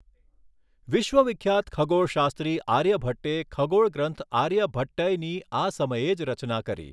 વિશ્વવિખ્યાત ખગોળશાસ્ત્રી આર્યભટ્ટે ખગોળગ્રંથ આર્યભટ્ટયની આ સમયે જ રચના કરી.